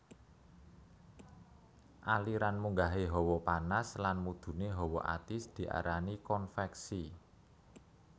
Aliran munggahé hawa panas lan mudhuné hawa atis diarani konveksi